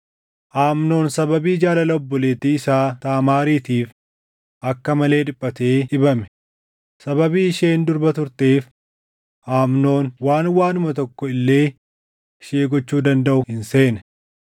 Amnoon sababii jaalala obboleettii isaa Taamaariitiif akka malee dhiphatee dhibame; sababii isheen durba turteef Amnoon waan waanuma tokko illee ishee gochuu dandaʼu hin seene.